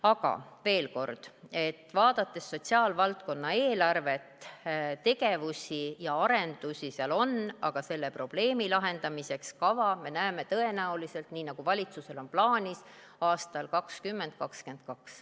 Aga veel kord, et vaadates sotsiaalvaldkonna eelarvet, tegevusi ja arendusi seal on, aga selle probleemi lahendamiseks näeme me tõenäoliselt kava, nii nagu valitsusel on plaanis, aastal 2022.